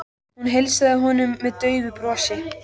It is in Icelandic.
Hún heilsaði honum með daufu brosi.